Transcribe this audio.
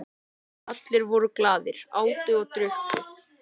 Allir voru glaðir, átu og drukku.